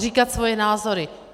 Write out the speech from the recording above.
Říkat svoje názory.